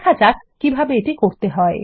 দেখা যাক কিভাবে করতে হয়